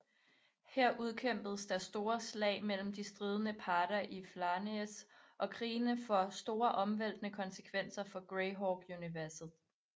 Her udkæmpes der store slag mellem de stridende parter i Flanaess og krigene får store omvæltende konsekvenser for Greyhawk universet